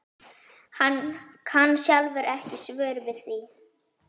Hann kann sjálfur ekki svör við því.